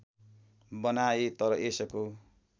बनाए तर यसको